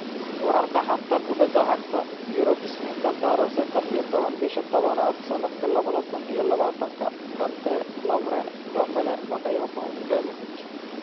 Wararka xanta kubada cagta Yurub Isniinta tariq sedax iyo toban bisha tadabaad sanadka labada kun iyo labatanka Kante, Lovren, Ndombele, Bakayoko, Ibrahimovic,